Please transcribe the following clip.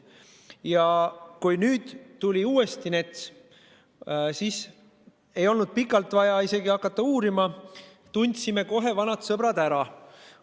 Ja kui nüüd tuli uuesti NETS lauale, siis ei olnud pikalt vaja uurima hakata – tundsime kohe vanad sõbrad ära.